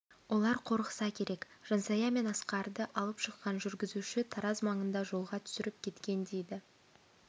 олар қорықса керек жансая мен асқарды алып шыққан жүргізуші тараз маңында жолға түсіріп кеткен дейді